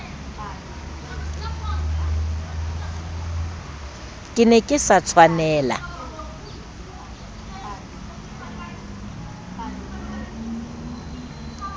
ke ne ke sa tshwanela